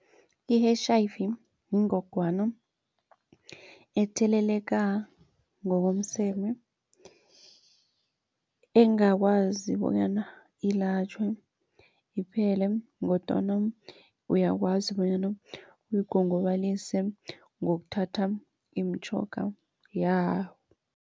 I-H_I_V yingogwana etheleleka ngokomseme engakwazi bonyana ilatjhwe iphele kodwana uyakwazi bonyana uyigongobalise ngokuthatha imitjhoga